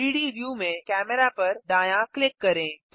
3डी व्यू में कैमेरा पर दायाँ क्लिक करें